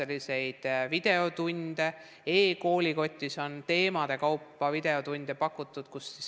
E-koolikotis on teemade kaupa videotunde pakutud.